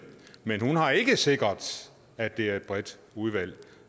men hun har ikke sikret at det er et bredt udvalg